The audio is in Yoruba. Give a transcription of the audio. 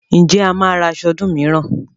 Ǹjẹ́ a máa ra aṣọ ọdún mìíràn?